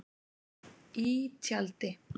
Í tjaldi.